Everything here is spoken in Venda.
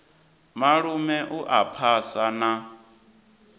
malume u a phasa na